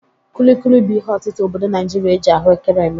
Kulikuli bụ ihe ọtịta obodo Naịjịrịa e ji ahụekere eme.